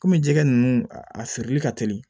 Kɔmi jɛgɛ ninnu a feereli ka teli